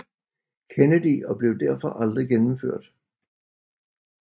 Kennedy og blev derfor aldrig gennemført